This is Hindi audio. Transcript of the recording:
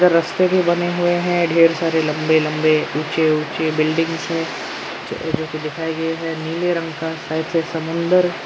रस्ते भी बने हुए हैं ढेर सारे लंबे लंबे ऊंचे ऊंचे बिल्डिंग हैं जो की दिखाई दे रहे हैं नीले रंग का साइड से समुद्र--